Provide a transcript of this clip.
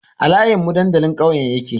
A layin mun dandalin ƙauyen nan yake